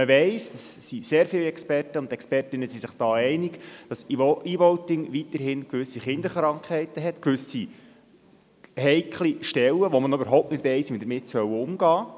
Sehr viele Expertinnen und Experten sind sich darin einig, dass E-Voting immer noch gewisse Kinderkrankheiten hat, und es gibt gewisse heikle Stellen, wo man noch nicht weiss, wie man mit ihnen umgehen soll.